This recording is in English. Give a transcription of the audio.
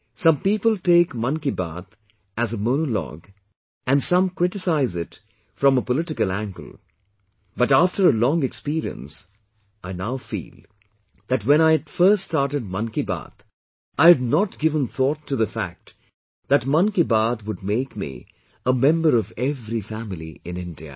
Some people take 'Mann Ki Baat' as a monologue and some criticize it from a political angle but after a long experience, I now feel, that when I had first started 'Mann Ki Baat,' I had not given thought to the fact that 'Mann Ki Baat' would make me a member of every family in India